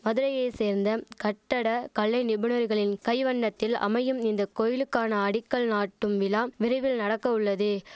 மதுரையை சேர்ந்தம் கட்டட கலை நிபுணர்களின் கைவண்ணத்தில் அமையும் இந்த கோயிலுக்கான அடிக்கல் நாட்டும் விழாம் விரைவில் நடக்கவுள்ளது